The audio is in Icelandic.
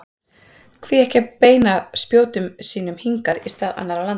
Hví ekki að beina spjótum sínum hingað í stað annarra landa?